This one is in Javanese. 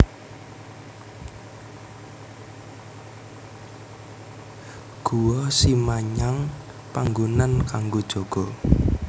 Guwa Simanyang panggonan kanggo jaga